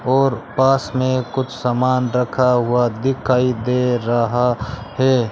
और पास में कुछ सामान रखा हुआ दिखाई दे रहा है।